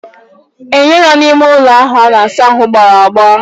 Enyo nọ n'ime ụlọ a na-asa ahụ gbawara agbawa.